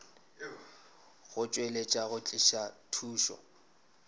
go tšweletša go tliša thušo